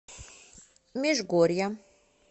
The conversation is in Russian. межгорья